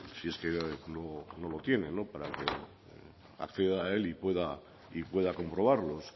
si es que no lo tiene para que acceda a él y pueda comprobarlos